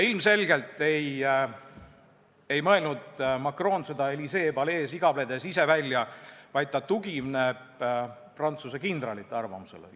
Ilmselgelt ei mõelnud Macron seda Élysée palees igavledes ise välja, vaid ta tugineb Prantsuse kindralite arvamusele.